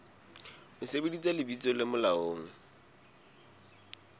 ho sebedisa lebitso le molaong